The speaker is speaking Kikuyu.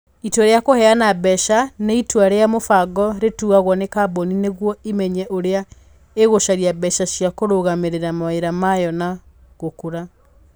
Itua rĩa kũheana mbeca nĩ itua rĩa mũbango rĩtuagwo nĩ kambuni nĩguo ĩmenye ũrĩa ĩgũcaria mbeca cia kũrũgamĩrĩra mawĩra mayo na gũkũra.